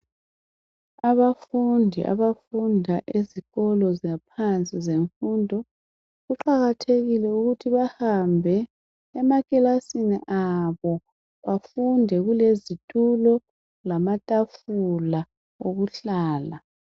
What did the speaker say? abafundi abafunda ezikolo zaphansi zemfundo kuqakathekile ukuthi bahambe emakilasini abo bafunde kulezitulo lamatafula okuhlala